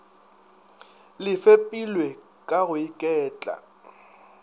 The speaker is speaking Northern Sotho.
le fepiwe ka go iketla